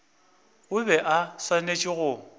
o bego o swanetše go